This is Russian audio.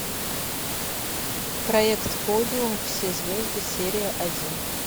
проект подиум все звезды серия один